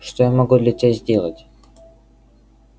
что я могу для тебя сделать